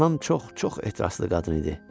Anam çox-çox ehtiraslı qadın idi.